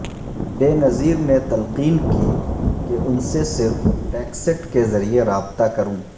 بے نظیر نے تلقین کی کہ ان سے صرف ٹیکسٹ کے ذریعے رابطہ کروں